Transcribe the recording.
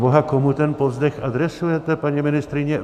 Proboha, komu ten povzdech adresujete, paní ministryně?